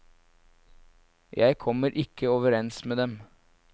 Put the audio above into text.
Jeg kommer ikke overens med dem.